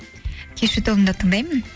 кешью тобын да тыңдаймын